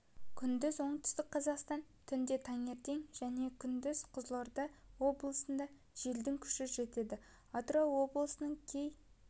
күндіз оңтүстік қазақстан түнде таңертең және күндіз қызылорда облыстарында желдің күші жетеді атырау облысының кей